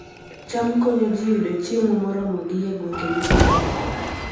cham konyo ji yudo chiemo moromogi e gwenge modhier